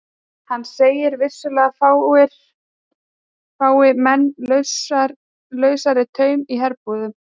Hann segir að vissulega fái menn lausari tauminn í herbúðum.